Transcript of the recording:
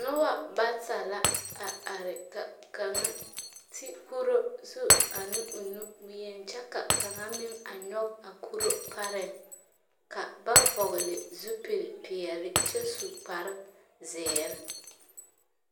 Noba bata la, a are ka kaŋa ti kuro zu ane o nu boŋ-yen kyɛ ka kaŋa meŋ a nyɔge a kuro pareŋ ka ba vɔgle zupilpeɛle kyɛ su kparezeere.